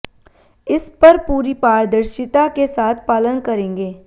इस पर पूरी पारदर्शिता के साथ पालन करेंगे